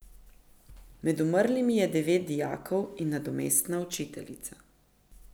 Med umrlimi je devet dijakov in nadomestna učiteljica.